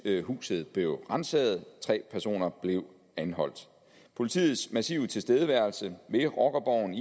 huset blev ransaget og tre personer blev anholdt politiets massive tilstedeværelse ved rockerborgen